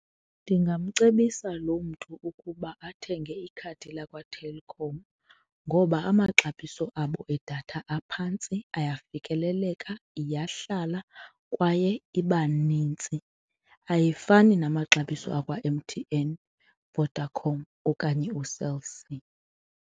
Ndingamcebisa lo mntu ukuba athenge ikhadi lakwaTelkom ngoba amaxabiso abo edatha aphantsi, ayafikeleleka, iyahlala kwaye iba nintsi, ayifani namaxabiso akwa-M_T_N, Vodacom okanye uCell C.